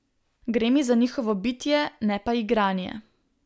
Gre mi za njihovo bitje, ne pa igranje.